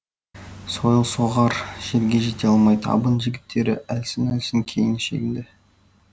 сойыл соғар жерге жете алмай табын жігіттері әлсін әлсін кейін шегінді